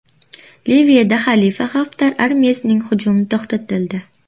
Liviyada Xalifa Xaftar armiyasining hujumi to‘xtatildi.